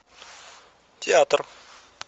театр